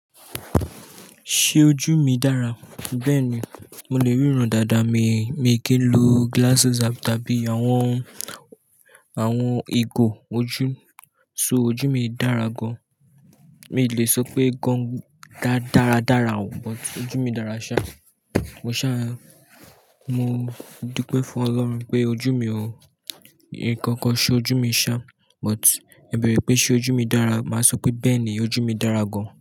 Ṣé ojú mi dára? Bẹ́ẹ̀ni, mo lè ríran dáadáa, mi, mi kì í lo glasses àbí tàbí àwọn, àwọn igò ojú, so ojú mi dára gan. Mi ò lè sọ pé gan da-dára dára o, but ojú mi dára ṣá. Mo ṣà, mo dúpẹ́ fún Ọlọ́run pé ojú mi o, nkankan ṣe ojú mi ṣa, but ẹ bẹrẹ pé ṣe ojú mi dára, màá sọ pé "bẹ́ẹ̀ni, ojú mi dára gan.